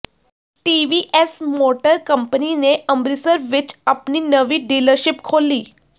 TVS Motor Company ਨੇ ਅੰਮਿ੍ਤਸਰ ਵਿਚ ਆਪਣੀ ਨਵੀਂ ਡੀਲਰਸ਼ਿਪ ਖੋਲ੍ਹੀ